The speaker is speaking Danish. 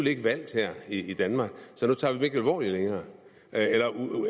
ikke valgt i danmark så nu tager vi dem ikke alvorligt længere